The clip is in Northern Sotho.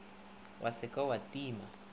wa se ke wa tima